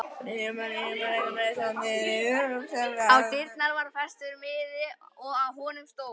Á dyrnar var festur miði og á honum stóð